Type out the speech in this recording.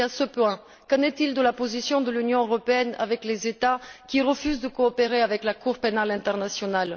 Sur ce point, qu'en est il de la position de l'Union européenne à l'égard des États qui refusent de coopérer avec la Cour pénale internationale?